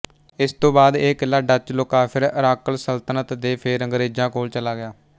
ਇਸ ਤੋਂ ਬਾਅਦ ਇਹ ਕਿਲਾ ਡੱਚ ਲੋਕਾਂਫਿਰ ਅਰਾੱਕਲ ਸਲਤਨਤ ਤੇ ਫੇਰ ਅੰਗਰੇਜ਼ਾਂ ਕੋਲ ਚਲਾ ਗਿਆ